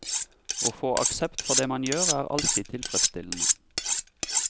Å få aksept for det man gjør, er alltid tilfredsstillende.